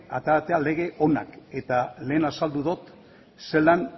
ateratzea lege onak eta lehen azaldu dut zelan